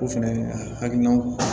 O fɛnɛ hakilina